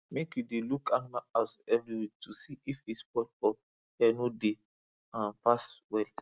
make you dey look animal house every week to see if e spoil or air no dey um pass well